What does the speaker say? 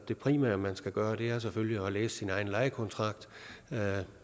det primære man skal gøre er selvfølgelig at læse sin egen lejekontrakt